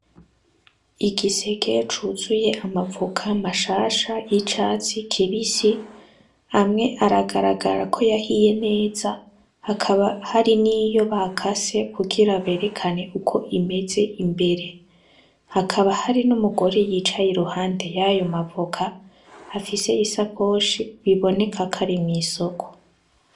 Igisege cuzuye amavoka mashasha y'icatsi kibisi hamwe aragaragara ko yahiye neza hakaba hari n'iyo baka se kugira berekane uko imeze imbere hakaba hari n'umugore yicaye i ruhande yayo mavoka afise isakoshi biboneka kwari mw'isoko.